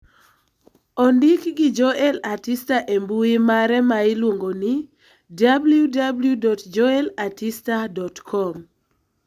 ondik gi Joel Artista e mbui mare ma iluongo ni www.joelartista.com.